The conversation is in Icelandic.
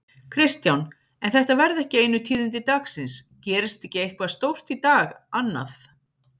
Kristján: En þetta verða ekki einu tíðindi dagsins, gerist ekki eitthvað stórt í dag annað?